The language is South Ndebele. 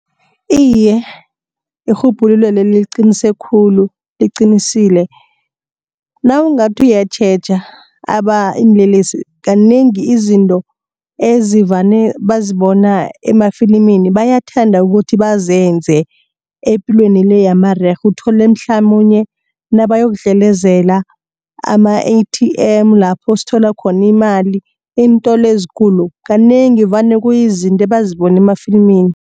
Iye, irhubhululo leli liqinise khulu liqinisile nawungathi uyatjheja iinlelesi kanengi izinto ezivane bazibona emafilimini bayathanda ukuthi bazenze epilweni le yamarerhe. Uthole mhlamunye nabayokudlelezela ama-A_T_M lapho sithola khona imali iintolo ezikulu kanengi vane kuyizinto abazibone emafilimini.